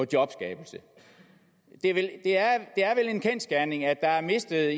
jobskabelse det er vel en kendsgerning at der er mistet